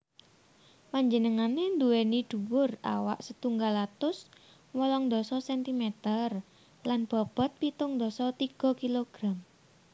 Panjenengané nduwèni dhuwur awak setunggal atus wolung dasa centimeter lan bobot pitung dasa tiga kilogram